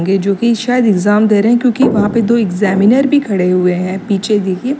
ये जो कि शायद एग्जाम दे रहे है क्योंकि वहां पे दो एग्जामिनर भी खड़े हुए है पीछे देखिए।